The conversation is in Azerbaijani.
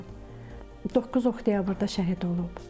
9 oktyabrda şəhid olub.